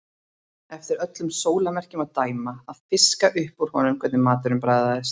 Eftir öllum sólarmerkjum að dæma að fiska upp úr honum hvernig maturinn bragðaðist.